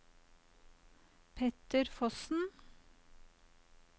Petter Fossen